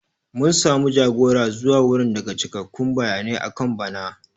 Mun samu jagora zuwa wurin daga cikakkun bayanai akan bana.